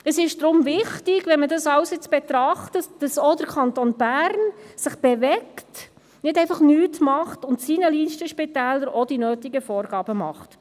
Deshalb ist es wichtig, alles zu betrachten, damit auch der Kanton Bern sich bewegt und nicht einfach nichts tut, sondern seinen Listenspitälern auch die nötigen Vorgaben stellt.